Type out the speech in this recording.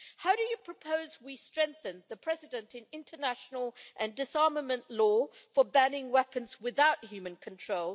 How do they propose we strengthen the precedent in international and disarmament law for banning weapons without human control